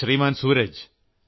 Shriman Sooraj